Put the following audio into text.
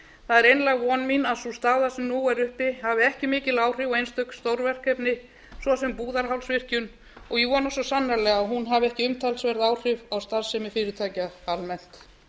það er einlæg von mín að sú staða sem nú er uppi hafi ekki mikil áhrif á einstök stórverkefni svo sem búðarhálsvirkjun og ég vona svo sannarlega að hún hafi ekki umtalsverð áhrif á starfsemi fyrirtækja almennt